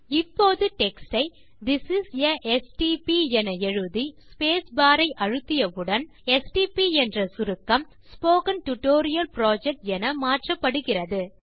இப்போது டெக்ஸ்ட் யை this is a STB என எழுதி ஸ்பேஸ்பார் ஐ அழுத்திய உடனே எஸ்டிபி என்ற சுருக்கம் ஸ்போக்கன் டியூட்டோரியல் Projectஎன மாற்றப்படுகிறது